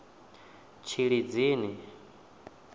tshilidzini